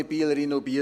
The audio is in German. Ich war in Biel,